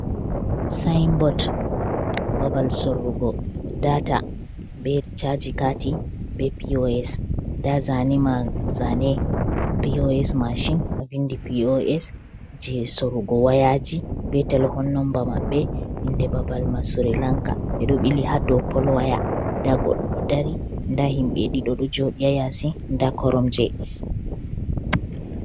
Sayinbot babal sorrugo daata bee rchaji kati bee p.o.s ndaa zaane p.o.s machin ɗo vindi p.o.s jey sorrugo wayaaji bee telhon nomba maɓɓe inde babal may surilanka ɓe ɗo ɓili haa dow pol waya ndaa goɗɗo ɗo dari nda himɓe ɗiɗo ɗo jooɗi haa yasi nda koromje.